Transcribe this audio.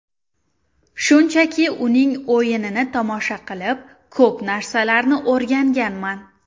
Shunchaki uning o‘yinini tomosha qilib, ko‘p narsalarni o‘rganganman.